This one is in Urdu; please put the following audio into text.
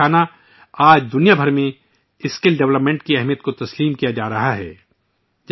میرے پریوار جنو ، آج کل اسکل ڈیولپمنٹ کی اہمیت کو پوری دنیا میں پذیرائی مل رہی ہے